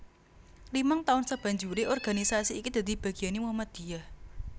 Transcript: Limang taun sabanjure organisasi iki dadi bagiane Muhammadiyah